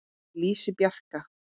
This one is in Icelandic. Ég lýsi Bjarka